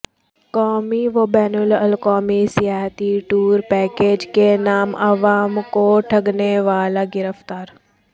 قومی و بین الاقوامی سیاحتی ٹور پیاکیج کے نام عوام کو ٹھگنے والا گرفتار